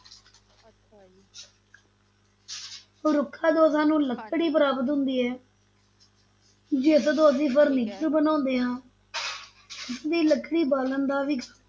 ਰੁੱਖਾਂ ਤੋਂ ਸਾਨੂੰ ਲੱਕੜੀ ਪ੍ਰਾਪਤ ਹੁੰਦੀ ਹੈ ਜਿਸ ਤੋਂ ਅਸੀ furniture ਬਣਾਉਂਦੇ ਹਾਂ ਤੇ ਲੱਕੜੀ ਬਾਲਣ ਦਾ ਵੀ ਕੰਮ,